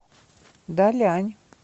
далянь